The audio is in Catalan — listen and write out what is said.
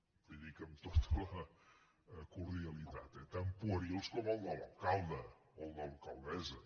li ho dic amb tota la cordialitat eh tan puerils com el de l’alcalde o el de l’alcaldessa